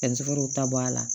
ta bɔ a la